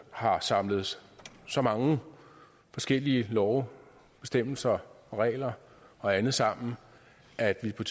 har samlet så mange forskellige love bestemmelser regler og andet sammen at det på